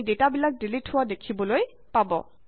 আপুনি ডেটাবিলাক ডিলিট হোৱা দেখিবলৈ পাব